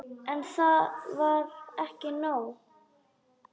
En það var ekki nóg.